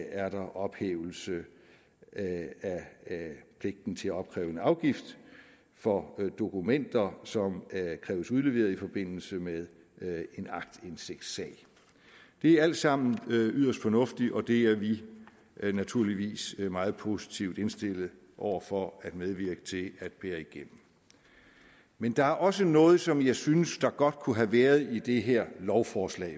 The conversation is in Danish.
er der ophævelse af pligten til at opkræve en afgift for dokumenter som kræves udleveret i forbindelse med en aktindsigtssag det er altså yderst fornuftigt og det er vi naturligvis meget positivt indstillet over for at medvirke til at bære igennem men der er også noget som jeg synes der godt kunne have været i det her lovforslag